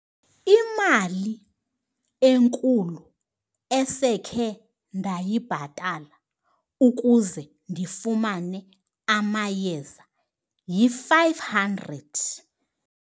Imali enkulu esekhe ndayibhatala ukuze ndifumane amayeza yi-five hundred.